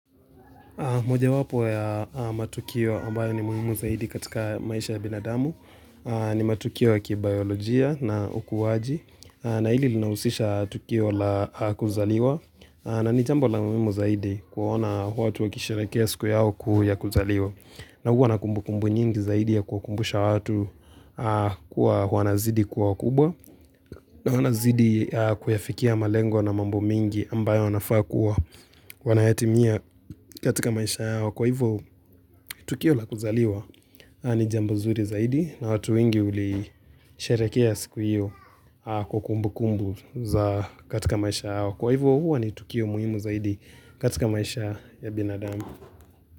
Moja wapo ya matukio ambayo ni muhimu zaidi katika maisha ya binadamu. Ni matukio ya kibayolojia na ukuwaji. Na hili linahusisha tukio la kuzaliwa. Na ni jambo la muhimu zaidi kuwaona wa tuwa kisherekea siku yao kuukuzaliwa. Na huwa na kumbu kumbu nyingi zaidi ya kuwa kumbusha watu kua wana zidi kuawa kubwa. Na huwana zidi kuyafikia malengo na mambo mengi ambayo wanafaa kuwa wanayatimia katika maisha yao Kwa hivyo, Tukio la kuzaliwa ni jambozuri zaidi na watu winge huli sherekea siku hiyo kwa kumbu kumbu za katika maisha yao. Kwa hivyo, huwa ni Tukio muhimu zaidi katika maisha ya binadamu.